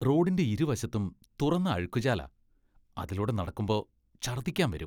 റോഡിന്റെ ഇരുവശത്തും തുറന്ന അഴുക്കുചാലാ. അതിലൂടെ നടക്കുമ്പോ ഛർദ്ദിക്കാൻ വരും.